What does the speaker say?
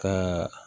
Kɛ